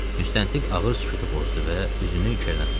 Müstəntiq ağır sükutu pozdu və üzünü Kerənə tutdu.